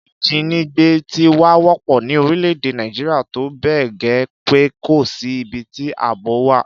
Ìjínigbé ti wá wọ́pọ̀ ní orílẹ̀-èdè Nàìjíríà tó bẹ́ẹ̀ gẹ́ pé kò sí ibi tí àbò wà